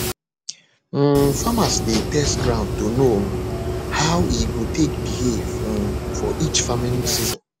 um farmers dey test ground to know um how e go take behave um for each farming season